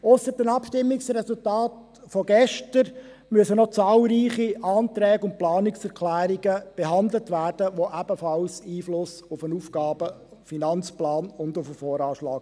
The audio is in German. Ausser dem Abstimmungsresultat von gestern müssen noch zahlreiche Anträge und Planungserklärungen behandelt werden, die ebenfalls Einfluss auf den AFP und den VA haben.